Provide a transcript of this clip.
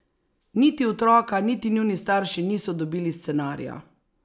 Niti otroka niti njuni starši niso dobili scenarija!